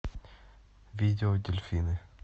видео дельфины